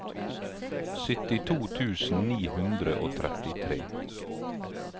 syttito tusen ni hundre og trettitre